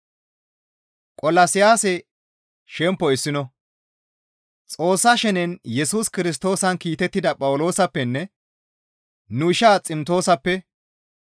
Xoossa shenen Yesus Kirstoosan kiitettida Phawuloosappenne nu ishaa Ximtoosappe,